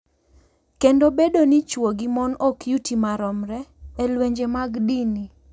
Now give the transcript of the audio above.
Kendo bedo ni chwo gi mon ok yuti maromre e lwenje mag dini.